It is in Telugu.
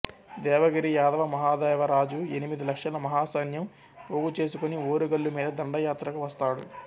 దేవగిరి యాదవ మహాదేవరాజు ఎనిమిది లక్షల మాహాసైన్యం పోగుచేసుకోని ఓరుగల్లు మీద దండయాత్రకు వస్తాడు